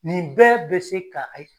Nin bɛɛ bɛ se ka ayi